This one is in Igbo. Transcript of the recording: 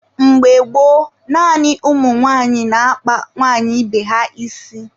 Mgbe gboo, naanị ụmụ nwaanyị na-akpa nwaanyị ibe ha isi.